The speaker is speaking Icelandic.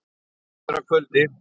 Það líður að kvöldi.